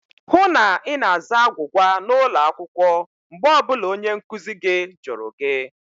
Hụụ na Ị na-aza agwụgwa n'ụlọ akwụkwọ mgbe ọ bụla onye nkụzi gị jụrụ gị!